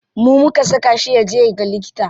Mu muka saka shi yaje yaga likita.